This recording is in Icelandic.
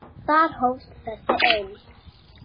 Þar hófst þessi eymd.